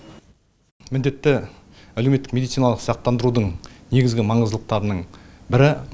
міндетті әлеуметтік медициналық сақтандырудың негізгі маңыздылықтарының бірі